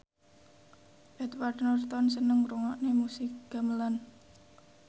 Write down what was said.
Edward Norton seneng ngrungokne musik gamelan